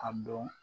A dɔn